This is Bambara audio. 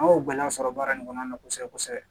An y'o gɛlɛya sɔrɔ baara in kɔnɔna na kosɛbɛ kosɛbɛ